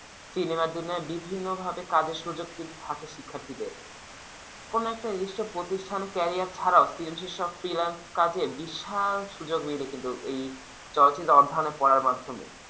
সিনেমার দুনিয়ায় বিভিন্ন ভাবে কাজের সুযোগ কিন্তু থাকে শিক্ষার্থীদের কোন একটা প্রতিষ্ঠানে career ছাড়াও বিশাল সুযোগ মেলে কিন্তু চলচ্চিত্র পড়ার মাধ্যমে অধ্যায়নের পড়ার মাধ্যমে